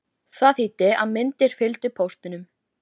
Það þýddi að myndir fylgdu póstinum.